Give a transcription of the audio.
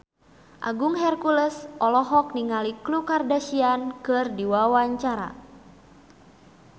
Agung Hercules olohok ningali Khloe Kardashian keur diwawancara